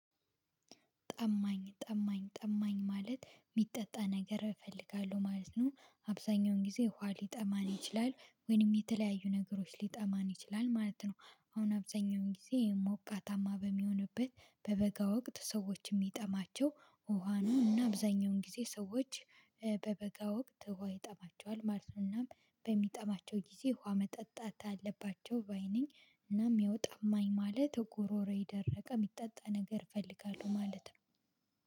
ጠማኝ ጠማኝ ጠማኝ ማለት የሚጠጣ ነገር እፈልጋለሁ ማለት ነው። አብዛኛውን ጊዜ ውሃ ሊጠማን ይችላል ወይም የተለያዩ ነገሮች ሊጠማን ይችላል ማለት ነው። አሁን አብዛኛውን ጊዜ ሞቃታማ በሚሆንበት በበጋ ወቅት ሰዎች የሚጠማቸው ውሃ ነው እና አብዛኛውን ጊዜ ሰዎች በበጋ ወቅት ውሃ ይጠማቸዋል ማለት ነው። እናም በሚጠማቸው ጊዜ ውሃ መጠጣት አለባቸው ባይ ነኝ። እናም ያው ጠማኝ ማለት ጉሮሮዬ ደረቀ የሚጠጣ ነገር ፈልጋለው ማለት ነው